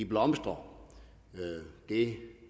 blomstrer det